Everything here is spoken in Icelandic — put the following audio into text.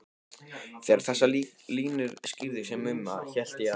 Þegar þessar línur skýrðust hjá Mumma hélt ég að